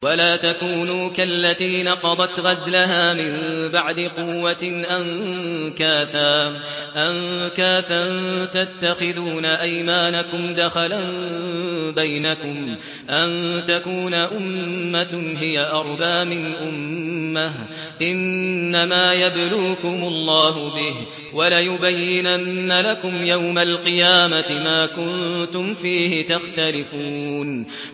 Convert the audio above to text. وَلَا تَكُونُوا كَالَّتِي نَقَضَتْ غَزْلَهَا مِن بَعْدِ قُوَّةٍ أَنكَاثًا تَتَّخِذُونَ أَيْمَانَكُمْ دَخَلًا بَيْنَكُمْ أَن تَكُونَ أُمَّةٌ هِيَ أَرْبَىٰ مِنْ أُمَّةٍ ۚ إِنَّمَا يَبْلُوكُمُ اللَّهُ بِهِ ۚ وَلَيُبَيِّنَنَّ لَكُمْ يَوْمَ الْقِيَامَةِ مَا كُنتُمْ فِيهِ تَخْتَلِفُونَ